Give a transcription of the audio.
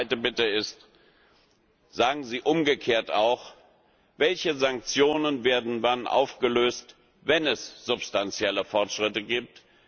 Die zweite Bitte ist, sagen Sie umgekehrt auch, welche Sanktionen wann aufgehoben werden, wenn es substanzielle Fortschritte gibt.